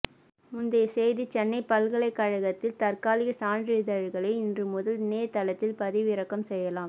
முந்தைய செய்திசென்னை பல்கலைக்கழகத்தில் தற்காலிக சான்றிதழ்களை இன்று முதல் இணையதளத்தில் பதிவிறக்கம் செய்யலாம்